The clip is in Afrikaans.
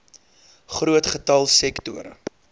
groot getal sektore